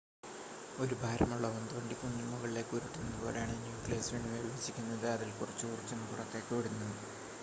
ഒരു ഭാരമുള്ള ഉന്ത് വണ്ടി കുന്നിൻ മുകളിലേക്ക് ഉരുട്ടുന്നത് പോലെയാണ് ന്യൂക്ലിയസ് വീണ്ടും വിഭജിക്കുന്നത് അതിൽ കുറച്ച് ഊർജ്ജം പുറത്തേക്ക് വിടുന്നു